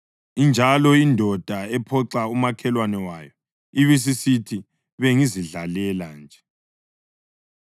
injalo indoda ephoxa umakhelwane wayo ibisisithi, “Bengizidlalela nje!”